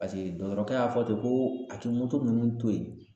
Paseke dɔkɔtɔrɔkɛ y'a fɔ ten, ko a ti nunnu to ye